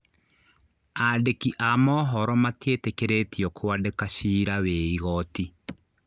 Andĩki a mohoro matietĩkĩrĩtio kwandĩka ciira wa igoti